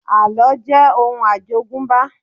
Àlọ́ jẹ́ òun àjogúnbá